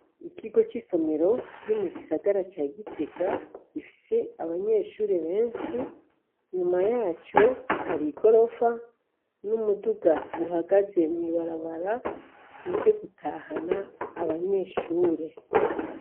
Ikigo c'isomero kiri mu gisagara ca Gitega, gifise abanyeshure benshi; inyuma yaco hari igorofa n'umuduga uhagaze mw'ibarabara, uje gutahana abanyeshure.